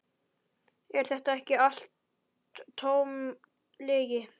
Er þetta ekki allt tóm lygi?